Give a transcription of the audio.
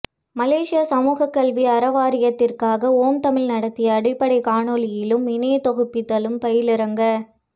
மலேசிய சமூக கல்வி அறவாரியத்திற்காக ஓம்தமிழ் நடத்திய அடிப்படை காணொளியியலும் இணையத் தொகுப்பித்தலும் பயிலரங்கு